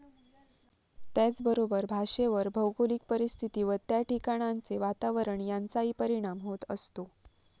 त्याचबरोबर भाषेवर भौगोलिक परिस्थिती व त्या ठिकाणांचे वातावरण यांचाही परिणाम होत असतो.